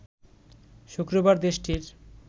শুক্রবার দেশটির